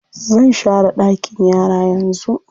Zan share ɗakin yara yanzu.